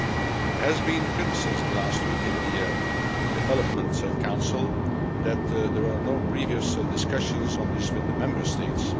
There was criticism last week in the Development Council that there were no previous discussions on this with the Member States.